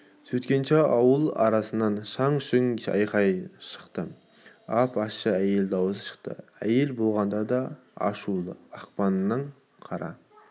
сөйткенше ауыл арасынан шаң-шүң айқай шықты ап-ащы әйел дауысы шықты әйел болғанда да ашуы ақпанның қара